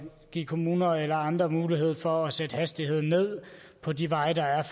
give kommuner og alle andre mulighed for at sætte hastigheden ned på de veje der er